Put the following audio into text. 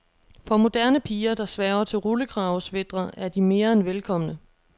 For moderne piger, der sværger til rullekravesweatre er de mere end velkomne.